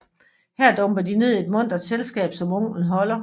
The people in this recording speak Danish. Her dumper de ned i et muntret selskab som onklen holder